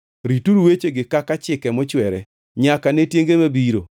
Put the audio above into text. “Rituru wechegi kaka chike mochwere nyaka ne tienge mabiro.